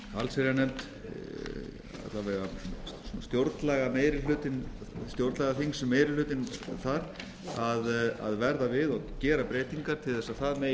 allsherjarnefnd alla vega stjórnlagaþingsmeirihlutinn þar að verða við og gera breytingar til að það megi